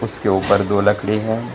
उसके ऊपर दो लकड़ी है।